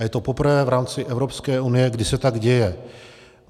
A je to poprvé v rámci Evropské unie, kdy se tak děje.